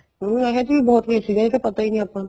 ਉਹਨੂੰ ਇਹ ਜੀ ਬਹੁਤ basic ਏ ਇਹ ਤਾਂ ਪਤਾ ਨਹੀਂ ਆਪਾਂ ਨੂੰ